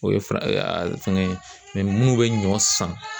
O ye fɛngɛ ye minnu bɛ ɲɔ san